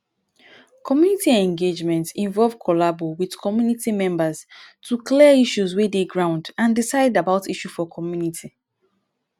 community engagement involve collabo with community memebrs to clear issues wey dey ground and decide about issue for community